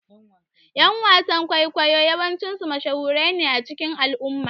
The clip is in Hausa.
Ƴan wasan ƙwaikwayo yawanci sune mashahurai a cikin al'umma